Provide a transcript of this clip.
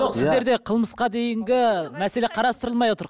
жоқ сіздерде қылмысқа дейінгі мәселе қарастырылмай отыр